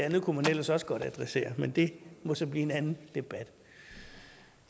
og det kunne man ellers også godt adressere men det må så blive en anden debat